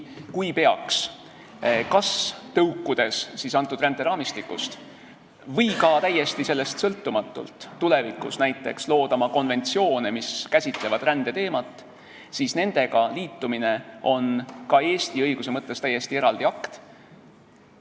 Kui peaks kas tõukudes sellest ränderaamistikust või ka täiesti sellest sõltumatult tulevikus näiteks loodama konventsioone, mis käsitlevad rändeteemat, siis nendega liitumine on ka Eesti õiguse mõttes täiesti eraldi akt.